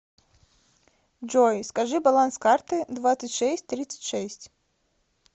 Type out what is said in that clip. джой скажи баланс карты двадцать шесть тридцать шесть